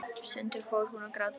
Stundum fór hún að gráta.